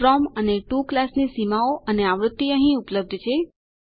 from અને to ક્લાસની સીમાઓ અને આવૃત્તિ અહીં ઉપલબ્ધ છે